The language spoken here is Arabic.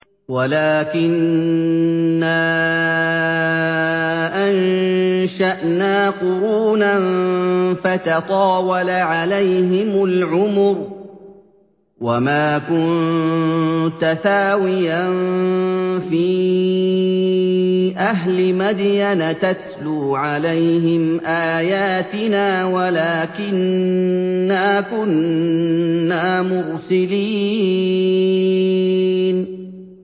وَلَٰكِنَّا أَنشَأْنَا قُرُونًا فَتَطَاوَلَ عَلَيْهِمُ الْعُمُرُ ۚ وَمَا كُنتَ ثَاوِيًا فِي أَهْلِ مَدْيَنَ تَتْلُو عَلَيْهِمْ آيَاتِنَا وَلَٰكِنَّا كُنَّا مُرْسِلِينَ